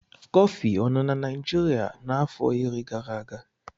Kọfị ọ nọ na Naijiria afọ iri gara aga.